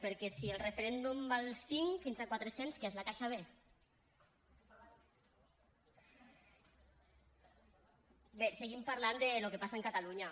perquè si el referèndum val cinc fins a quatre cents què és la caixa be bé seguim parlant del que passa en catalunya